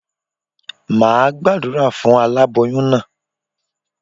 Máa Gbàdúrà fún aláboyún naa